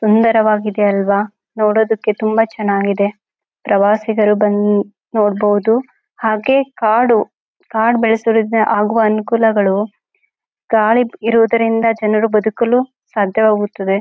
ಸುಂದರವಾಗಿದೆ ಅಲ್ಲವಾ ನೋಡೋದಕ್ಕೆ ತುಂಬಾ ಚನ್ನಾಗಿದೆ ಪ್ರವಾಸಿಗರು ಬನ್ನ ನೋಡಬಹುದು ಹಾಗೆ ಕಾಡು ಕಾಡ ಬೆಳಸೋದ್ರಿಂದ ಆಗುವ ಅನುಕೂಲಗಳು ಕಾಡು ಇರೋದ್ರಿಂದ ಜನರು ಬದುಕಲು ಸಾಧ್ಯವಾಗುತ್ತದೆ.